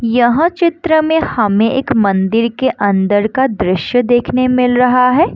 यह चित्र में हमे एक मंदिर के अंदर का दृश्य देखने मिल रहा है।